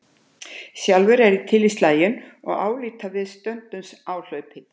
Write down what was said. Sjálfur er ég til í slaginn og álít að við stöndumst áhlaup.